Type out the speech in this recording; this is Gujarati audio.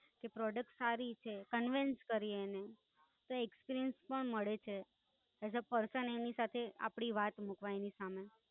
કે product સારી છેકર vance કરીયે એને. તો experience પણ મળે છે. as a person આપડે એની સાથે આપડી વાત મુકવા એની સામે.